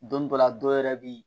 Don dɔ la dɔ yɛrɛ bi